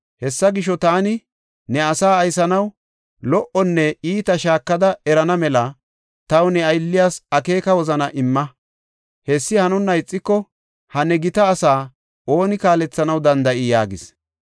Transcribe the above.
Hessa gisho, taani ne asaa aysanaw lo77onne iita shaakada erana mela taw ne aylliyas akeeka wozana imma. Hessi hanonna ixiko, ha ne gita asaa ooni kaalethanaw danda7ii?” yaagis.